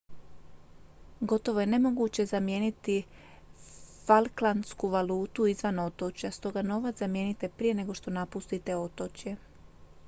gotovo je nemoguće zamijeniti falklandsku valutu izvan otočja stoga novac zamijenite prije nego što napustite otočje